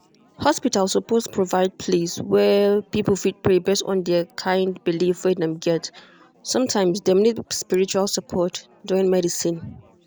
hospital suppose provide place wey people fit pray based on the kind belief wey dem get. sometimes dem need spiritual support join medicine.